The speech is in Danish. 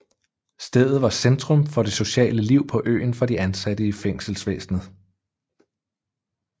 Stedet var centrum for det sociale liv på øen for de ansatte i fængselsvæsenet